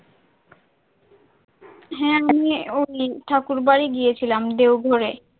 হ্যাঁ আমিও এই ঠাকুরবাড়ি গিয়েছিলাম দেওঘরে।